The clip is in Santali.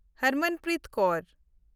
ᱦᱟᱨᱢᱟᱱᱯᱨᱤᱛ ᱠᱚᱣᱨ